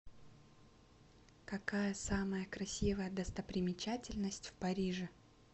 какая самая красивая достопримечательность в париже